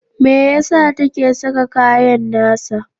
Me ya sa take saka kayan nasa?